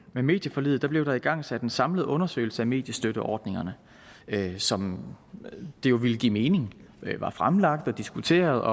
med medieforliget blev der igangsat en samlet undersøgelse af mediestøtteordningerne som det jo ville give mening var fremlagt og diskuteret